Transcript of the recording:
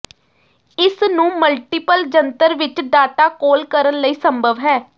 ਇਸ ਨੂੰ ਮਲਟੀਪਲ ਜੰਤਰ ਵਿੱਚ ਡਾਟਾ ਕੋਲ ਕਰਨ ਲਈ ਸੰਭਵ ਹੈ